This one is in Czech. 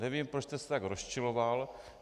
Nevím, proč jste se tak rozčiloval.